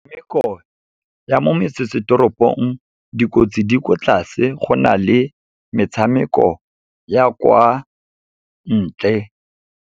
Metshameko ya mo metsesetoropong, dikotsi di kwa tlase go na le metshameko ya kwa ntle.